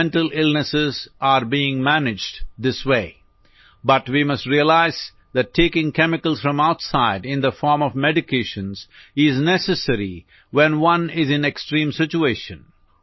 mental illness are being managed this way but we must realize that taking chemicals from outside in the form of medications is necessary when one is in extreme situation